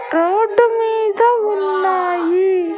road మీద ఉన్నాయి